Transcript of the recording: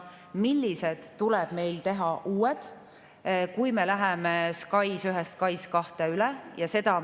Meil on vaja uusi lahendusi, kui me läheme SKAIS1‑lt üle SKAIS2‑le.